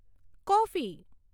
coffee